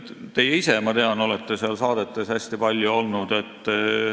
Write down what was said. Teie ise, ma tean, olete seal saadetes hästi palju olnud.